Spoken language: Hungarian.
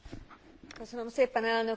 Köszönöm szépen elnök úr!